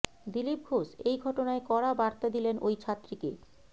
দিলীপ ঘোষ এই ঘটনায় কড়া বার্তা দিলেন ওই ছাত্রীকে